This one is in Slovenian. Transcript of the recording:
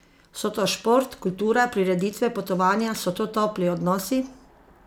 So to šport, kultura, prireditve, potovanja, so to topli odnosi?